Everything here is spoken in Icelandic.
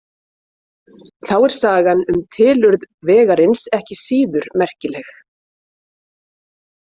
Þá er sagan um tilurð vegarins ekki síður merkileg.